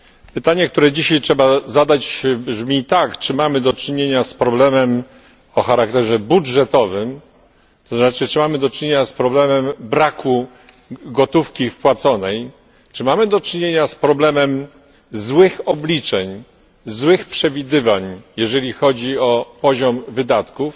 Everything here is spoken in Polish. Pytanie, które trzeba dzisiaj zadać, brzmi tak czy mamy do czynienia z problemem o charakterze budżetowym, to znaczy czy mamy do czynienia z problemem braku gotówki wpłaconej, czy mamy do czynienia z problemem złych obliczeń, złych przewidywań, jeżeli chodzi o poziom wydatków,